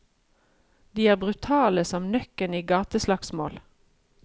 De er brutale som nøkken i gateslagsmål.